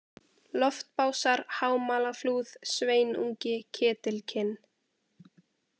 Loftbásar, Hámalaflúð, Sveinungi, Ketilkinn